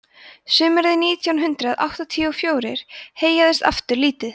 sumarið sautján hundrað áttatíu og fjórir heyjaðist aftur lítið